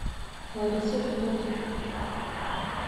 лариса федотова